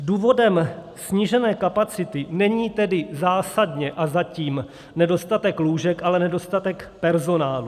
Důvodem snížené kapacity není tedy zásadně a zatím nedostatek lůžek, ale nedostatek personálu.